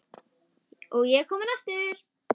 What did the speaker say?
Og ég er kominn aftur!